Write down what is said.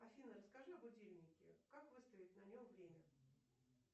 афина расскажи о будильнике как выставить на нем время